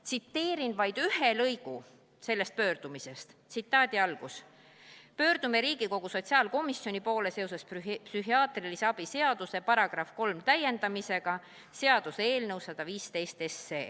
Tsiteerin vaid üht lõiku sellest pöördumisest: "Pöördume Riigikogu sotsiaalkomisjoni poole seoses Psühhiaatrilise abi seaduse § 3 täiendamise seaduse eelnõuga .